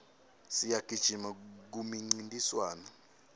siyagijima kumincintiswano